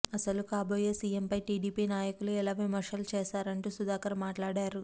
అసలు కాబోయే సీఎంపై టీడీపీ నాయకులు ఎలా విమర్శలు చేశారంటూ సుధాకర్ మాట్లాడారు